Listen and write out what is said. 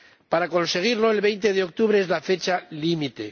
Para conseguirlo, el 20 de octubre es la fecha límite.